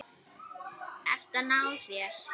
Ert að ná þér.